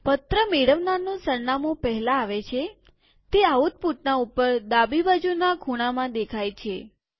પત્ર મેળવનારનું સરનામું પહેલાં આવે છેતે આઉટપુટના ઉપર ડાબી બાજુના ખૂણામાં દેખાય છે